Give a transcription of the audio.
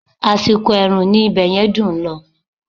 Àsìkò ẹ̀rùn ni ibẹ̀yẹn dùn ún lọ